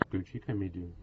включи комедию